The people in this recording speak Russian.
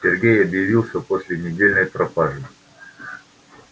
сергей объявился после недельной пропажи